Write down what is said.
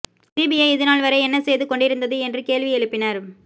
CBI இதுநாள் வரை என்ன செய்து கொண்டிருந்தது என்று கேள்வி எழுப்பினர்